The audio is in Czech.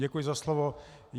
Děkuji za slovo.